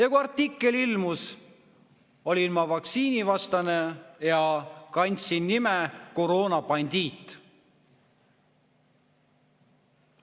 Aga kui artikkel ilmus, olin ma vaktsiinivastane ja kandsin nime Koroonabandiit.